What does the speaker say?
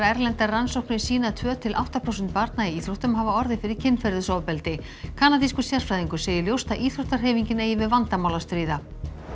erlendar rannsóknir sýna að tvö til átta prósent barna í íþróttum höfðu hafa orðið fyrir kynferðisofbeldi kanadískur sérfræðingur segir ljóst að íþróttahreyfingin eigi við vandamál að stríða